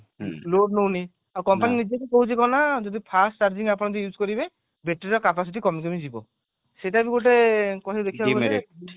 ହୁଁ load ନଉନି ଔ company ନିଜେ ବି କହୁଛି କଣ ନା ଯଦି first charging ଆପଣ ଯଦି use କରିବେ battery ର capacity କମି କମି ଯିବ ସେଇଟା ବି ଗୋଟେ ଦେଖିବାକୁ ଗଲେ